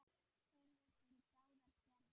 Þörf er fyrir báðar gerðir.